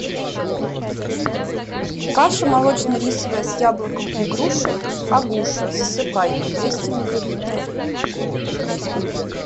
каша молочно рисовая с яблоком и грушей агуша засыпайка двести миллилитров